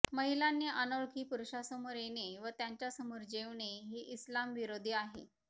महिलांनी अनोळखी पुरुषासमोर येणे व त्यांच्या समोर जेवणे हे इस्लामविरोधी आहे